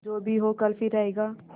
जो भी हो कल फिर आएगा